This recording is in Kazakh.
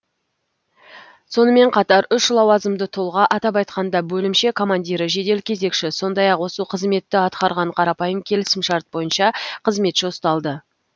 сонымен қатар үш лауазымды тұлға атап айтқанда бөлімше командирі жедел кезекші сондай ақ осы қызметті атқарған қарапайым келісімшарт бойынша қызметші ұсталды